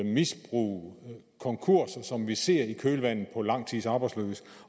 misbrug og konkurser som vi ser i kølvandet på lang tids arbejdsløshed